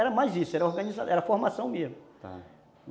Era mais isso, era org formação mesmo. Tá.